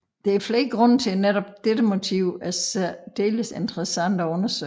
Der er flere grunde til at netop dette motiv er særdeles interessant at undersøge